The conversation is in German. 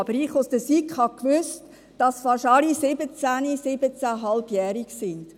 Als Mitglied der SiK wusste ich aber, dass fast alle siebzehn-, siebzehneinhalbjährig sind.